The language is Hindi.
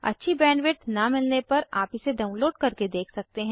अच्छी बैंडविड्थ न मिलने पर आप इसे डाउनलोड करके देख सकते हैं